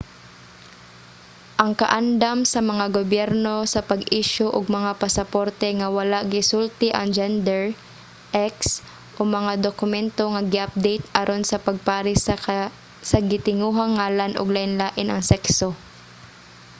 ang kaandam sa mga gobyerno sa pag-isyu og mga pasaporte nga wala gisulti ang gender x o mga dokumento nga gi-update aron sa pagpares sa gitinguhang ngalan ug lainlain ang sekso